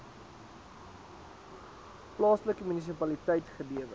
plaaslike munisipaliteit gelewer